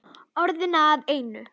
Orðin að einu.